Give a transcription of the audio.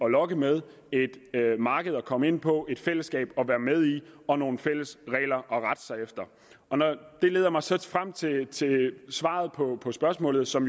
lokke med et marked at komme ind på et fællesskab at være med i og nogle fælles regler at rette sig efter det leder mig så frem til svaret på på spørgsmålet som